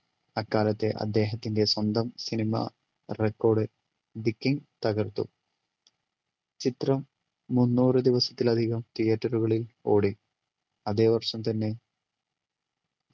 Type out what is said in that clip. അക്കാലത്തെ അദ്ദേഹത്തിൻ്റെ സ്വന്തം cinema record the king തകർത്തു ചിത്രം മുന്നൂറു ദിവസത്തിലധികം theatre കളിൽ ഓടി അതെ വർഷം തന്നെ